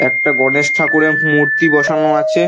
একটা গণেশ ঠাকুরের হুম মূর্তি বসানো আছে।